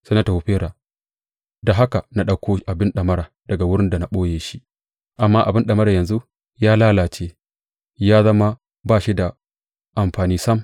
Sai na tafi Fera da haka na ɗauko abin ɗamara daga wurin da na ɓoye shi, amma abin ɗamara yanzu ya lalace ya zama ba shi da amfani sam.